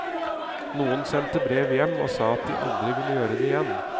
Noen sendte brev hjem og sa at de aldri ville gjøre det igjen.